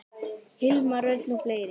Hilmar Örn og fleiri.